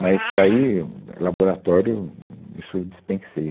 Mas daí, hum, é laboratório, hum, isso eu dispensei.